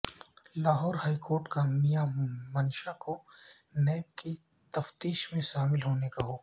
Lahore high court کا میاں منشا کو NAB کی تفتیش میں شامل ہونے کا حکم